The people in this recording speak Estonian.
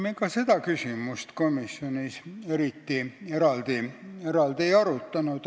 Me ka seda küsimust komisjonis eriti eraldi ei arutanud.